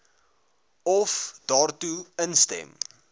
of daartoe instem